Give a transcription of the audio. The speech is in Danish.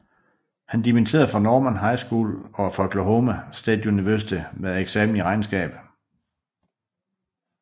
Han dimitterede fra Norman High School og fra Oklahoma State University med en eksamen i regnskab